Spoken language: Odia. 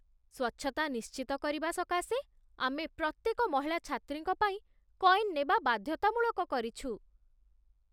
ସ୍ୱଚ୍ଛତା ନିଶ୍ଚିତ କରିବା ସକାଶେ, ଆମେ ପ୍ରତ୍ୟେକ ମହିଳା ଛାତ୍ରୀଙ୍କ ପାଇଁ କଏନ୍ ନେବା ବାଧ୍ୟତାମୂଳକ କରିଛୁ।